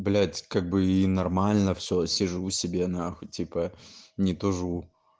блять как бы и нормально все сижу себе на х типа не тужу